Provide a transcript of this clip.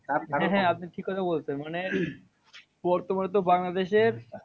হ্যাঁ হ্যাঁ আপনি ঠিক কথা বলেছেন। মানে বর্তমানে তো বাংলাদেশের